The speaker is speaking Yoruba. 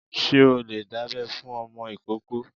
Ṣé o lè dábẹ́ fún ọmọ ìkóókó?